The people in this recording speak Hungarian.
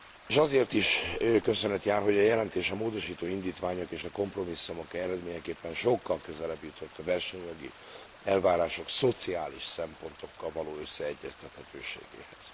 S azért is köszönet jár, hogy a jelentés a módosító indítványok és a kompromisszumok eredményeképpen sokkal közelebb jutott a versenyjogi elvárások szociális szempontokkal való összeegyeztethetőségéhez.